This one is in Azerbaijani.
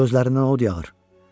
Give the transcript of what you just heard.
Gözlərindən od yağır.